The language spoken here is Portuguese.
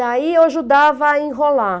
Daí eu ajudava a enrolar.